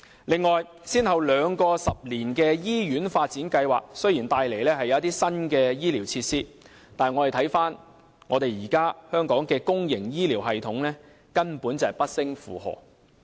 此外，雖然先後兩個十年醫院發展計劃帶來一些新的醫療設施，但觀乎現時香港的公營醫療系統，根本不勝負荷。